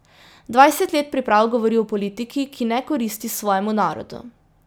Dvajset let priprav govori o politiki, ki ne koristi svojemu narodu.